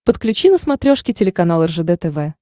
подключи на смотрешке телеканал ржд тв